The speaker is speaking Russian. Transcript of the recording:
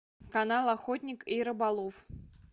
канал охотник и рыболов